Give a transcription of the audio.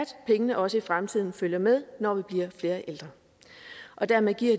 pengene også i fremtiden følger med når vi bliver flere ældre og dermed giver